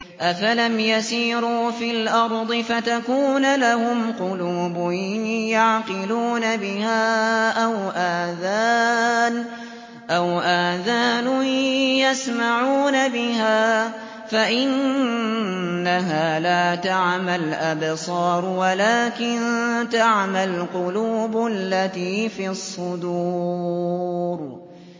أَفَلَمْ يَسِيرُوا فِي الْأَرْضِ فَتَكُونَ لَهُمْ قُلُوبٌ يَعْقِلُونَ بِهَا أَوْ آذَانٌ يَسْمَعُونَ بِهَا ۖ فَإِنَّهَا لَا تَعْمَى الْأَبْصَارُ وَلَٰكِن تَعْمَى الْقُلُوبُ الَّتِي فِي الصُّدُورِ